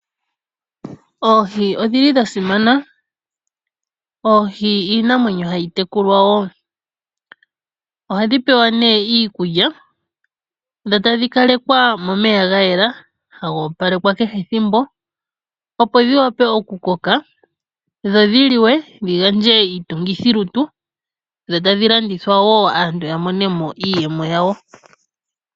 Oohi odhili dha simana. Oohi iimwenyo hayi tekulwa wo, ohadhi pewa ne iikulya dho tadhi kalekwa momeya ga yela, haga opalekwa kehe ethimbo, opo dhi wape oku koka, dho dhi liwe, dhi gandje iitungithilutu, dho tadhi landithwa woo aantu ya monemo iiyemo yawo.